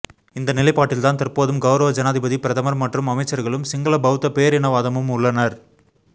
இந்த நிலைப்பாட்டில்தான் தற்போதும் கௌரவ ஜனாதிபதி பிரதமர் மற்றும் அமைச்சர்களும் சிங்கள பௌத்த பேரினவாதமும் உள்ளனர்